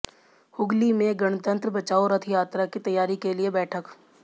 हुगली में गणतंत्र बचाओं रथ यात्रा की तैयारी के लिए बैठक